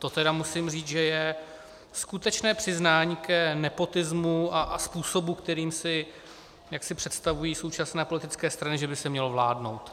To tedy musím říct, že je skutečné přiznání k nepotismu a způsobu, kterým si představují současné politické strany, že by se mělo vládnout.